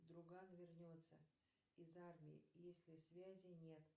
друган вернется из армии если связи нет